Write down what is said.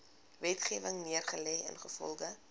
wetgewing neergelê ingevolge